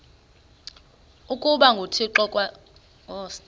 ukuba nguthixo ngokwaso